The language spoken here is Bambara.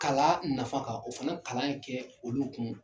Kala nafa kan o fana kalan ye kɛ olu kun.